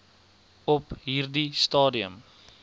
op hierdie stadium